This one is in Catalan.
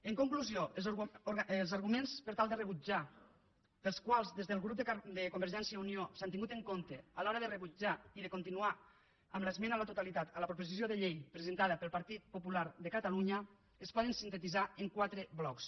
en conclusió els arguments per tal de rebutjar pels quals des del grup de convergència i unió s’han tingut en compte a l’hora de rebutjar i de continuar amb l’esmena a la totalitat a la proposició de llei presentada pel partit popular de catalunya es poden sintetitzar en quatre blocs